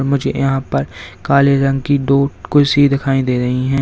मुझे यहां पर काले रंग की दो कुर्सी दिखाई दे रही हैं।